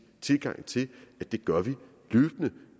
tilgang til at det gør vi løbende